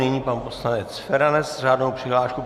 Nyní pan poslanec Feranec s řádnou přihláškou.